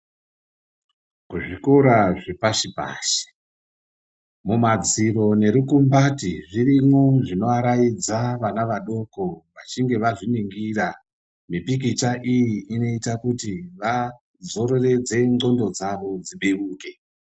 Kuzvikora zvepashi pashi, mumadziro nerukumbati zvirimwo zvinovaraidza vana vadoko vachinge vazviningira . Mipikicha iyi inoita kuti vazororodze ndxondo dzavo dzibeuke.